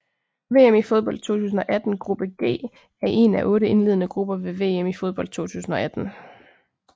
VM i fodbold 2018 gruppe G er en af otte indledende grupper ved VM i fodbold 2018